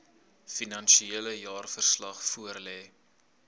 finansiële jaarverslag voorlê